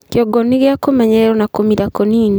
kĩongo nigia kumenyererwo na kumira kunini